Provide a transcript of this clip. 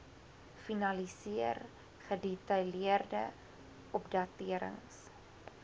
finaliseer gedetailleerde opdaterings